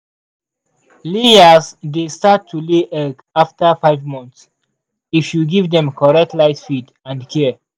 layers dey start to lay egg after five months if you give dem correct light feed and care.